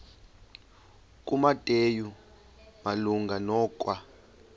kumateyu malunga nokwa